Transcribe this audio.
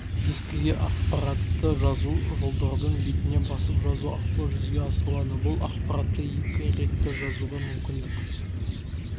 дискіге ақпаратты жазу жолдардың бетіне басып жазу арқылы жүзеге асырылады бұл ақпаратты екі ретті жазуға мүмкіндік